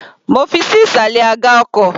Mo fi ṣí ìsàlẹ̀ aga ọkọ̀.